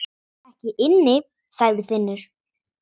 Ekki inni, sagði Finnur.